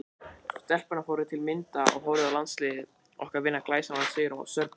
Stelpurnar fóru til að mynda og horfðu á landsliðið okkar vinna glæsilegan sigur á Serbum.